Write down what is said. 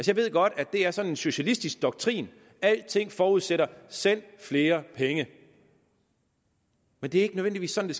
jeg ved godt at det er sådan en socialistisk doktrin at alting forudsætter send flere penge men det er ikke nødvendigvis sådan